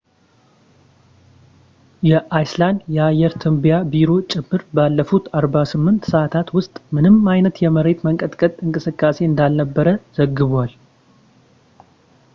የአይስላንድ የአየር ትንበያ ቢሮ ጭምር ባለፉት 48 ሰዐታት ውስጥ ምንም አይነት የመሬት መንቀጥቀጥ እንቅስቃሴ እንዳልነበር ዘግቧል